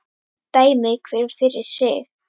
Dæmi hver fyrir sig!